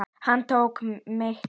Hann tók mig tali.